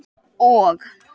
og